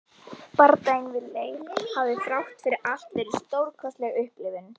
Bardaginn við Leif hafði þrátt fyrir allt verið stórkostleg upplifun.